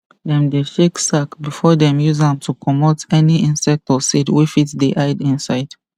dem dey shake sack before dem use am to comot any insect or seed wey fit dey hide inside